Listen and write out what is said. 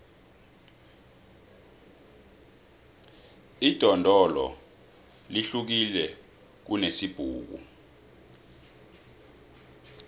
idondolo lihlukile kunesibhuku